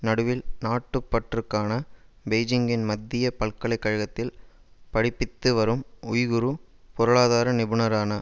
நடுவில் நாட்டுப் பற்றுக்கான பெய்ஜிங்கின் மத்திய பல்கலை கழகத்தில் படிப்பித்து வரும் உய்குர் பொருளாதார நிபுணரான